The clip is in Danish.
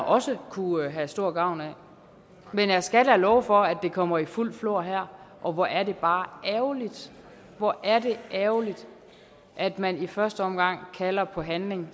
også kunne have stor gavn af men jeg skal love for at det kommer i fuldt flor her og hvor er det bare ærgerligt hvor er det ærgerligt at man i første omgang kalder på handling